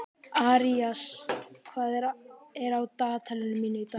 Arisa, hvað er á dagatalinu mínu í dag?